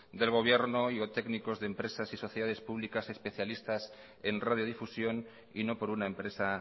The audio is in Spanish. del gobierno y técnicos de empresas y sociedades públicas especialistas en radiodifusión y no por una empresa